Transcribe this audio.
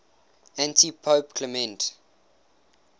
antipope clement